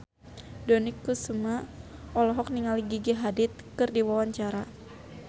Dony Kesuma olohok ningali Gigi Hadid keur diwawancara